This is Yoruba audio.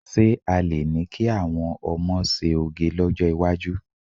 Ṣé a lè ní kí àwọn ọmọ ṣe òge lọ́jọ́ iwájú?